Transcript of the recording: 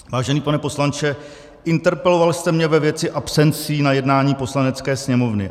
Vážený pane poslanče, interpeloval jste mě ve věci absencí na jednání Poslanecké sněmovny.